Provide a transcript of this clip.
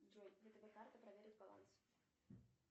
джой втб карта проверить баланс